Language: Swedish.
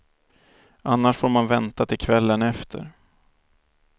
Annars får man vänta till kvällen efter.